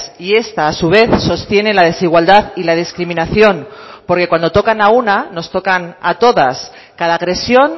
y esta a su vez sostiene la desigualdad y la discriminación porque cuando tocan a una nos tocan a todas cada agresión